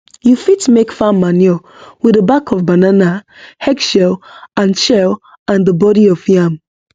you fit make farm manure with the back of banana egg shell and shell and the body of yam